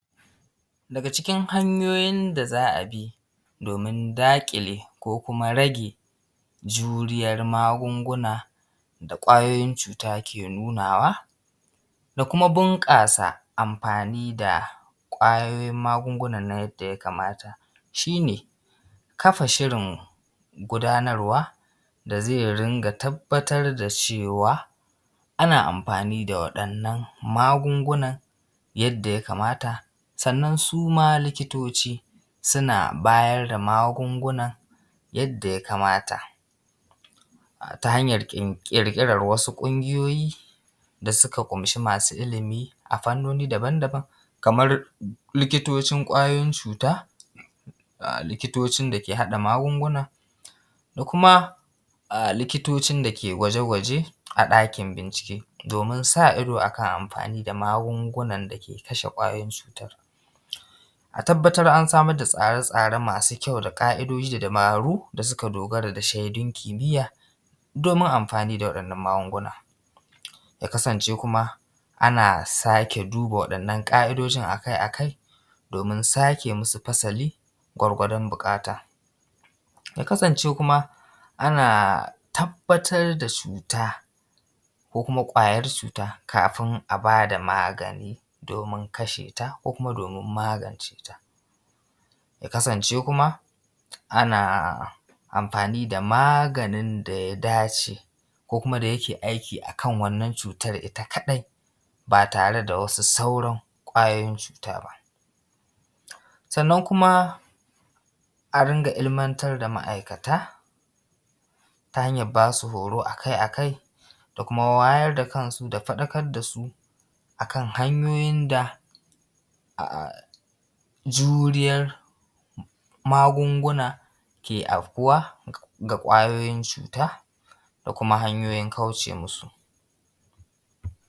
Daga cikin hanyoyin da za a bi domin daƙile ko kuma rage juriyar magunguna da ƙwayoyin cuta ke nunawa da kuma bunƙasa amfani da ƙwayoyin magungunan nan yadda ya kamata, shi ne kafa shirin mu, gudanarwa da zai rinka tabbatar da cewa ana amfani da waɗannan magungunan yadda ya kamata. Sannan suma likitoci suna bayar da magunguna yadda ya kamata, ta hanyar ƙirƙirar wasu ƙungiyoyi da suka ƙumshi masu ilimi a fannoni daban daban kamar likiticin ƙwayoyin cuta, likitocin da ke haɗa magunguna, da kuma likitocin da ke gwaje gwaje a ɗakin bincike domin sa iso akan amfani da magungunan da ke kasha ƙwayoyin cutar. A tabbatar an samar da tsare tsare masu kyau da ƙaidoji da dabaru da suka dogara da shaidun kimiyya domin amfani da waɗannan magunguna. Ya kasance kuma ana sake duba waɗannan ƙa’idojin akai akai domin sake masu fasali, gwargwadon buƙata. Ya kasance kuma ana tabbatar da cuta ko kuma ƙwayar cuta kafin a bada magani, domin kasha ta ko kuma domin magance ta. Ya kasance kuma ana amfani da maganin da ya dace ku kuma da yake aiki a kan wannan cutar ita kaɗai ba tare da sauran wasu ƙwayoyin cuta ba. sannan kuma a ringa ilmantar da ma’aikata ta hanyar bas u horo akai akai da kuma wayar da kansu da faɗakar da su a kan hanyoyin da juriyar magunguna ke afkuwa ga ƙwayoyin cuta da kuma hanyoyi kauce musu.